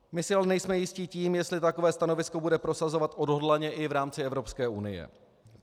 My si ale nejsme jisti tím, jestli takové stanovisko bude prosazovat odhodlaně i v rámci Evropské unie.